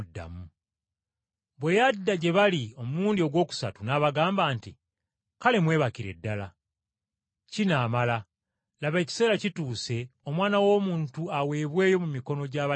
Bwe yadda gye bali omulundi ogwokusatu n’abagamba nti, “Kale mwebakire ddala. Kinaamala, laba ekiseera kituuse Omwana w’Omuntu aweebweyo mu mikono gy’abalina ebibi.